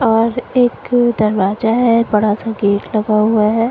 और एक दरवाज़ा है बड़ा सा गेट लगा हुआ है।